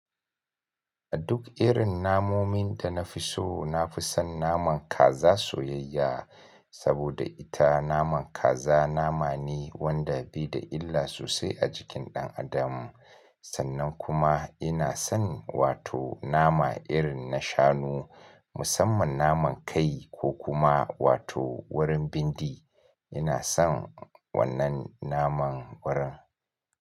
A duk irin namomin da na fi so, na fi son naman kaza soyayya saboda ita naman kaza nama ne wanda bai da illa sosai a jikin ɗan adam. Sannan kuma ina son wato nama irin na shanu, musamman naman kai ko kuma wato wurin bindi. Ina son wannan naman wurin.